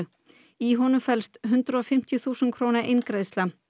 í honum felst hundrað og fimmtíu þúsund króna eingreiðsla